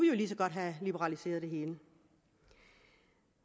jo lige så godt have liberaliseret det hele